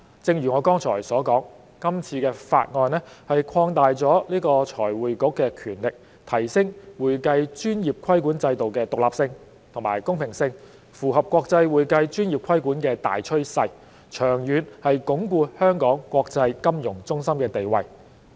正如我剛才所說，今次的法案擴大了財匯局的權力，提升會計專業規管制度的獨立性和公平性，符合國際會計專業規管的大趨勢，長遠能鞏固香港國際金融中心的地位。